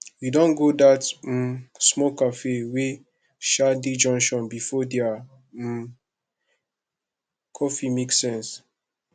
you don go dat um small cafe wey um dey junction before their um coffee make sense